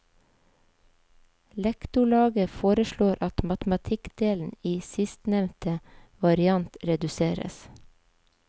Lektorlaget foreslår at matematikkdelen i sistnevnte variant reduseres.